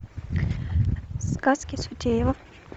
сказки сутеева